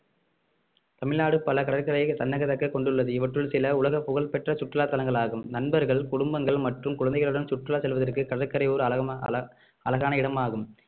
தமிழ்நாடு பல கடற்கரையை தன்னகதக்க கொண்டுள்ளது இவற்றுள் சில உலக புகழ்பெற்ற சுற்றுலா தலங்கள் ஆகும் நண்பர்கள் குடும்பங்கள் மற்றும் குழந்தைகளுடன் சுற்றுலா செல்வதற்கு கடற்கரை ஓர் அழக~ அழ~ அழகான இடமாகும்